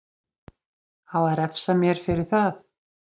Á að refsa mér fyrir það?